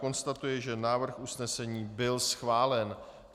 Konstatuji, že návrh usnesení byl schválen.